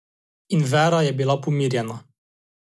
In Vera je bila pomirjena.